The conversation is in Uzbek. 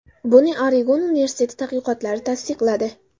Buni Oregon universiteti tadqiqotlari tasdiqladi.